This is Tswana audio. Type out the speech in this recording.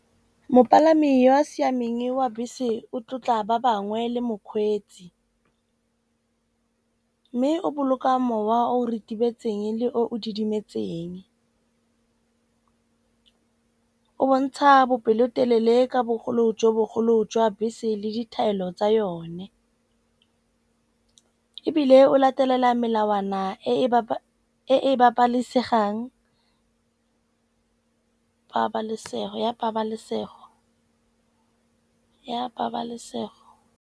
Mopalami yo o siameng wa bese o tlotla ba bangwe le mokgweetsi. Mme o boloka mowa o retibetseng le o didimetseng. O bontsha bopelotelele ka bogolo jo bogolo jwa bese le ditaelo tsa yone. Ebile o latelela melawana a e e e e pabalisegang, pabalesego ya pabalesego ya pabalesego.